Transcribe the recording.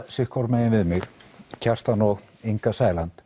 sitthvoru megin við mig Kjartan og Inga Sæland